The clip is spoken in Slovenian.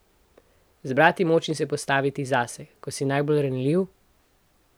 Zbrati moč in se postaviti zase, ko si najbolj ranljiv?